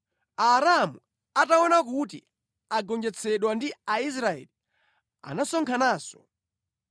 Aaramu ataona kuti agonjetsedwa ndi Aisraeli, anasonkhananso.